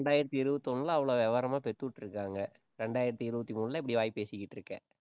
இரண்டாயிரத்தி இருபத்தி ஒண்ணுல அவ்ளோ விவரமா பெத்துவிட்ருக்காங்க இரண்டாயிரத்தி இருபத்தி மூணுல இப்பிடி வாய் பேசிட்டிகிட்டுருக்க